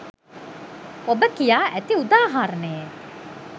ඔබ කියා ඇති උදාහරණයේ